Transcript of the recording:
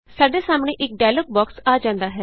ਸਾਡੇ ਸਾਹਮਣੇ ਇਕ ਡਾਇਲੋਗ ਬੋਕਸ ਆ ਜਾਂਦਾ ਹੈ